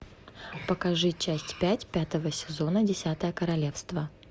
покажи часть пять пятого сезона десятое королевство